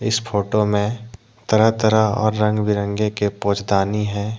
इस फोटो में तरह तरह और रंग बिरंगे के पोजदानी है।